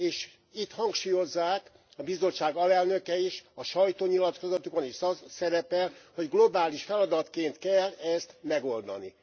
És itt hangsúlyozzák, a Bizottság alelnöke is, a sajtónyilatkozatokban is az szerepel, hogy globális feladatként kell ezt megoldani.